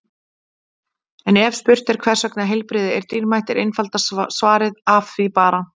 En ef spurt er hvers vegna heilbrigði er dýrmætt er einfaldasta svarið Af því bara!